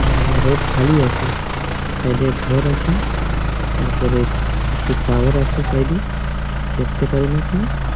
উম road খালি আছে side -এ ঘর আছে তারপরে একটি টাওয়ার আছে সাইড -এ দেখতে পারুন আপনি ।